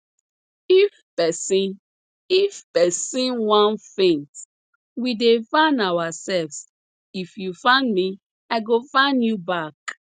if person if person wan faint we dey fan ourselves if you fan me i go fan you back